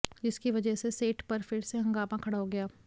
जिसकी वजह से सेट पर फिर से हंगामा खड़ा हो गया